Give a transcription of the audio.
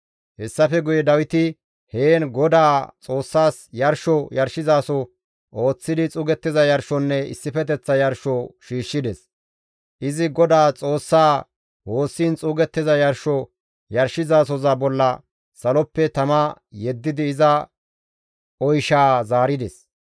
Hessafe guye Dawiti heen Godaa Xoossas yarsho yarshizaso ooththidi xuugettiza yarshonne issifeteththa yarsho shiishshides; izi Godaa Xoossaa woossiin xuugettiza yarsho yarshizasoza bolla saloppe tama yeddidi iza oyshaa zaarides.